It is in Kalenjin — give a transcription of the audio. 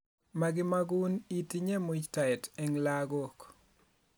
makimagun itinye muytaet eng' lagok